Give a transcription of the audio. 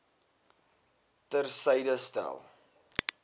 ter syde stel